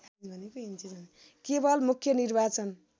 केवल मुख्य निर्वाचन